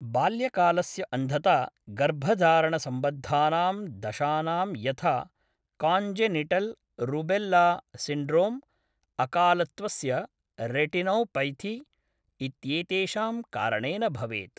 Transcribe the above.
बाल्यकालस्य अन्धता गर्भधारणसम्बद्धानां दशानां यथा काञ्जेनिटल् रूबेल्ल सिण्ड्रोम्, अकालत्वस्य रेटिनोपैथी, इत्येतेषां कारणेन भवेत्।